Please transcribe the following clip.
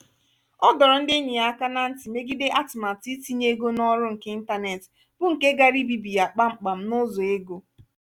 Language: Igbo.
ọ dọrọ ndị enyi ya áká na ntị megide atụmatụ itinye ego n'ọrụ nke ịntanetị bụ nke gaara ebibi ya kpam kpam n'ụzọ ego.